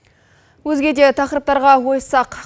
өзге де тақырыптарға ойыссақ